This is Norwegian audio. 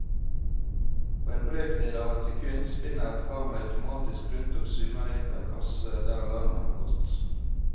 På en brøkdel av et sekund spinner et kamera automatisk rundt og zoomer inn på en kasse der alarmen har gått.